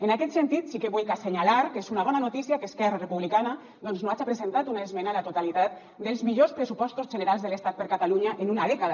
en aquest sentit sí que vullc assenyalar que és una bona notícia que esquerra republicana doncs no haja presentat una esmena a la totalitat dels millors pressupostos generals de l’estat per a catalunya en una dècada